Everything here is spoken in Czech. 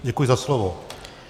Děkuji za slovo.